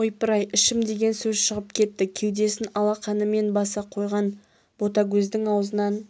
ойпырай ішім деген сөз шығып кетті кеудесін алақанымен баса қойған ботагөздің аузынан